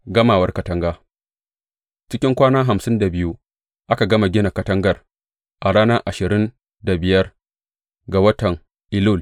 Gamawar katanga Cikin kwana hamsin da biyu aka gama gina katangar, a ranar ashirin da biyar ga watan Elul.